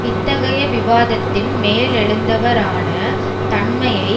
இத்தகைய விவாதத்தின் மேலெழுந்தவறான தன்மையை